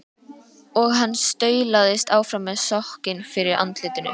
Og hann staulaðist áfram með sokkinn fyrir andlitinu.